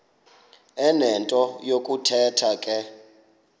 enento yokuthetha ke